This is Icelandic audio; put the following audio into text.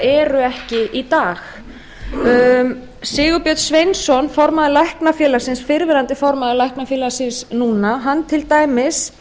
eru ekki í dag sigurbjörn sveinsson formaður læknafélagsins fyrrverandi formaður læknafélagsins núna hann til dæmis